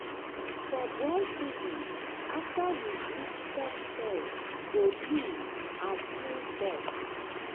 for dry season after we weed topsoil go loose and full dust.